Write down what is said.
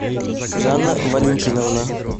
жанна валентиновна